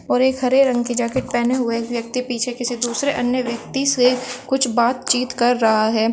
और एक हरे रंग की जैकेट पहने हुए एक व्यक्ति पीछे किसी दूसरे अन्य व्यक्ति से कुछ बातचीत कर रहा है।